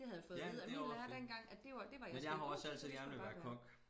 Det havde jeg fået at vide af min lærer dengang at det var det var jeg sgu da god til det skulle jeg bare gøre